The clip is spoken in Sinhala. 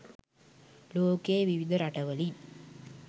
ලෝකයේ විවිධ රටවලින්